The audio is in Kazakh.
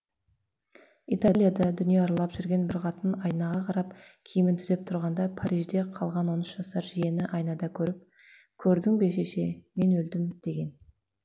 италияда дүние аралап жүрген бір қатын айнаға қарап киімін түзеп тұрғанда парижде қалған он үш жасар жиені айнада көрініп көрдің бе шеше мен өлдім деген